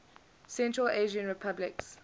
central asian republics